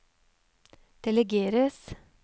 delegeres